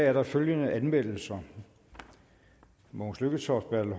er der følgende anmeldelser mogens lykketoft bertel